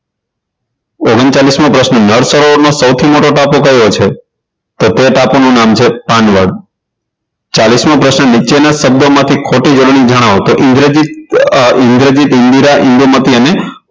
ઓગણચલીસ મો પ્રશ્ન નળ સરોવરનો સૌથી મોટો ટાપુ કયો છે તો તે ટાપુ નું નામ છે પાનવડ ચાલીસ મો પ્રશ્ન નીચેના શબ્દોમાંથી ખોટી જોડણી જણાવો તો ઇન્દ્રજીત અ ઇન્દ્રજીત ઇન્દિરા ઇન્દુમતી અને